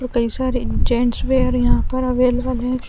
कई सारे gents wear यहाँ पर अवेलेबल हैं।